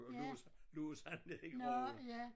Og lå lå så nede i grøften